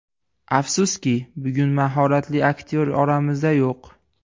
Afsuski, bugun mahoratli aktyor oramizda yo‘q.